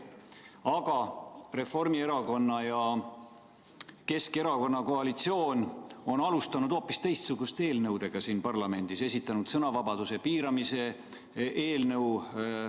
Aga Reformierakonna ja Keskerakonna koalitsioon on alustanud hoopis teistsuguste eelnõudega siin parlamendis, näiteks esitanud sõnavabaduse piiramise eelnõu.